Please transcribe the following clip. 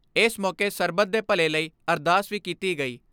ਏਸ ਮੌਕੇ ਸਰਬੱਤ ਦੇ ਭੱਲੇ ਲਈ ਅਰਦਾਸ ਵੀ ਕੀਤੀ ਗਈ।